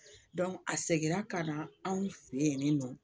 a seginna ka na anw fɛ yen nɔ